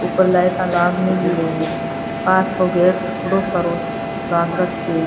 उपर लाइटा लाग मेली है कांच को गेट बढ़ो सारो लाग राख्यो है।